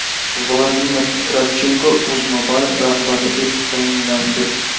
Vladimir Kravchenko UzMobile rahbari etib tayinlandi.